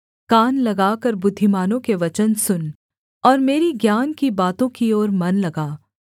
कान लगाकर बुद्धिमानों के वचन सुन और मेरी ज्ञान की बातों की ओर मन लगा